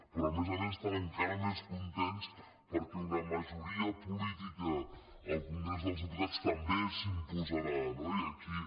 però a més a més estan encara més contents perquè una majoria política al congrés dels diputats també s’imposarà no i aquí